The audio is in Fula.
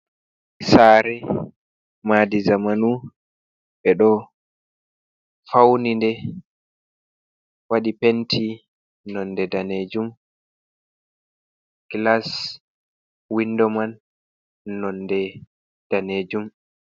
Saare maadi zamanu, ɓe ɗo fauni'nde waɗi penti, nonde danejum glas windo man nonde danejum.